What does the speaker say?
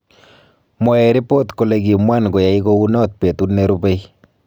Mwaei ripot kole kimwan koyai kounot petut nerupei